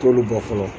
T'olu bɛɛ fɔlɔ